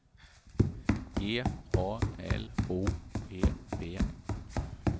G A L O P P